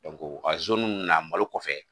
nunnu na malo kɔfɛ